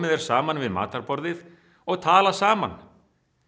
er saman við matarborðið og tala saman